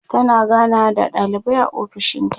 tana ganawa da ɗalibai a ofishinta